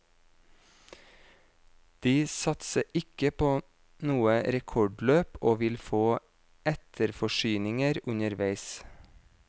De satser ikke på noe rekordløp og vil få etterforsyninger underveis.